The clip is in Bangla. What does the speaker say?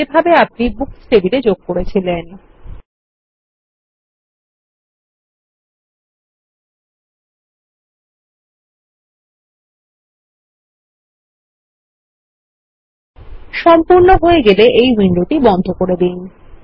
ঠিক যেভাবে আপনি বুকস টেবিলে করেছিলেন ltpause ফোর 10 সেকেন্ডসগট সম্পূর্ণ হয়ে গেলে এই উইন্ডোটি বন্ধ করে দিন